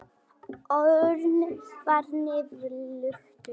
Örn var niðurlútur.